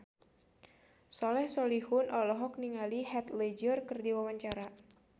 Soleh Solihun olohok ningali Heath Ledger keur diwawancara